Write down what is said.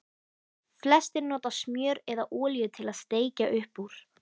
Flestir nota smjör eða olíu til að steikja upp úr.